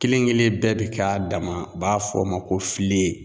Kelen kelen bɛɛ bi k'a dama u b'a fɔ o ma ko filen